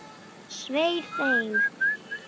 Svei þeim!